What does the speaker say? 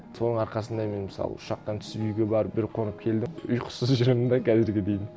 соның арқасында мен мысалы ұшақтан түсіп үйге барып бір қонып келдім ұйқысыз жүремін де қазірге дейін